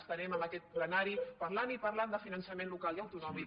estarem en aquest plenari parlant i parlant de finançament local i autonòmic